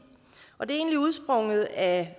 og det er egentlig udsprunget af